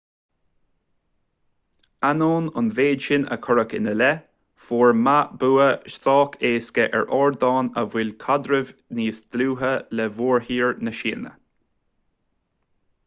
ainneoin an mhéid sin a cuireadh ina leith fuair ma bua sách éasca ar ardán a mhol caidreamh níos dlúithe le mórthír na síne